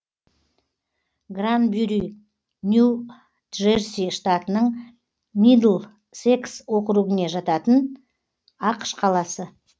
гранбюри нью джерси штатының мидлсекс округіне жататын ақш қаласы